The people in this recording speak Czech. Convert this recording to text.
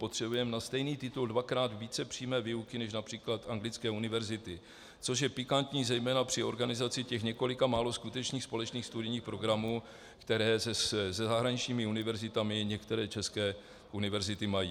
Potřebujeme na stejný titul dvakrát více přímé výuky než například anglické univerzity, což je pikantní zejména při organizaci těch několika málo skutečných společných studijních programů, které se zahraničními univerzitami některé české univerzity mají.